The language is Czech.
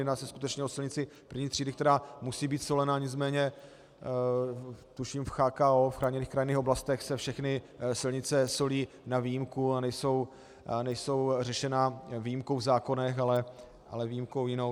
Jedná se skutečně o silnici první třídy, která musí být solena, nicméně tuším v CHKO, v chráněných krajinných oblastech, se všechny silnice solí na výjimku a nejsou řešeny výjimkou v zákonech, ale výjimkou jinou.